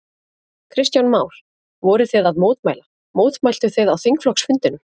Kristján Már: Voruð þið að mótmæla, mótmæltuð þið á þingflokksfundinum?